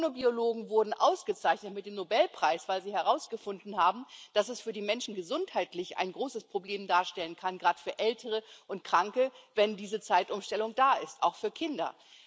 Chronobiologen wurden ausgezeichnet mit dem Nobelpreis, weil sie herausgefunden haben, dass es für die Menschen gesundheitlich ein großes Problem darstellen kann, gerade für Ältere und Kranke, wenn diese Zeitumstellung da ist, auch für Kinder.